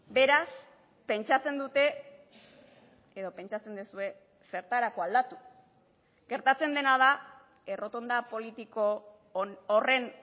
beraz pentsatzen dute edo pentsatzen duzue zertarako aldatu gertatzen dena da errotonda politiko horren